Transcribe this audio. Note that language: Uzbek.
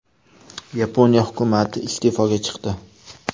Yaponiya hukumati iste’foga chiqdi.